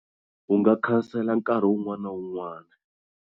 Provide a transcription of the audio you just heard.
U nga cancel nkarhi un'wana na un'wana.